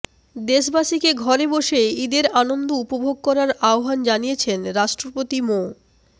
দেশবাসীকে ঘরে বসে ঈদের আনন্দ উপভোগ করার আহ্বান জানিয়েছেন রাষ্ট্রপতি মো